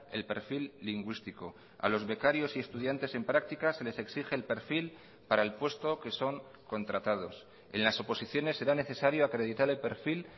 el perfil lingüístico a los becarios y estudiantes en prácticas se les exige el perfil para el puesto que son contratados en las oposiciones será necesario acreditar el perfil